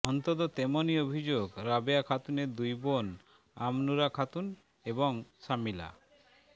অন্তত তেমনই অভিযোগ রাবেয়া খাতুনের দুই বোন আমনুরা খাতুন এবং সামিলা